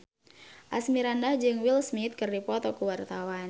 Asmirandah jeung Will Smith keur dipoto ku wartawan